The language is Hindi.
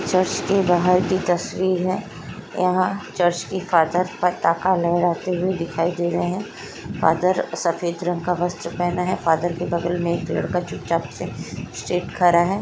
चर्च के बाहर की तस्वीर है यहाँ चर्च के फादर फताका लहराते हुए दिखाई दे रहे है फादर सफेद रंग का वस्त्र पहने है फादर के बगल में एक लड़का चुपचाप से स्ट्रेट खड़ा हैं।